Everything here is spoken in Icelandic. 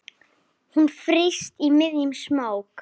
Hún frýs í miðjum smók.